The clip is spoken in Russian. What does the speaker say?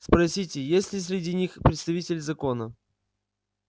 спросите есть ли среди них представители закона